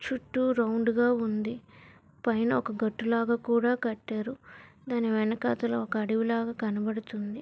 చుట్టూ రౌండ్ గా ఉంది పైన ఒక గట్టు లాగా కూడా కట్టారు దాని వెనకతల ఒక అడవిలాగా కనపడుతుంది.